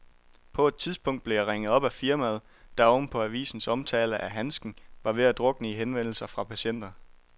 På et tidspunkt blev jeg ringet op af firmaet, der oven på avisens omtale af handsken var ved at drukne i henvendelser fra patienter.